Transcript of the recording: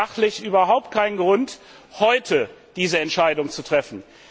Es gibt sachlich überhaupt keinen Grund, heute diese Entscheidung zu treffen.